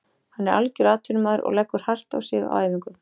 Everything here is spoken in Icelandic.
Hann er algjör atvinnumaður og leggur hart á sig á æfingum.